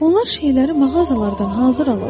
Onlar şeyləri mağazalardan hazır alırlar.